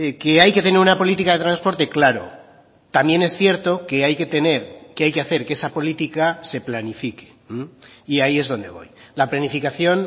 qué hay que tener una política de transporte claro también es cierto que hay que tener que hay que hacer que esa política se planifique y ahí es donde voy la planificación